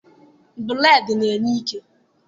Bụreedị na-enye ike.